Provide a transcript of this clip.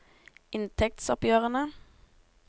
inntektsoppgjørene